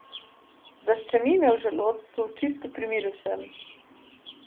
Zaščemi me v želodcu, čisto pri miru sem.